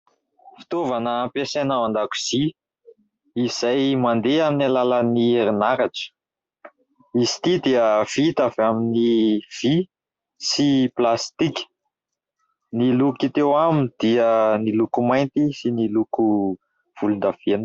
Fitaovana ampiasaina ao an-dakozia izay mandeha amin'ny alalan'ny herinaratra, izy ity dia vita avy amin'ny vy sy plastika, ny loko hita eo aminy dia ny loko mainty sy ny loko volondavenona.